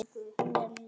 Hún er ljón.